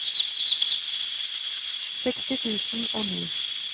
seksti tusen og ni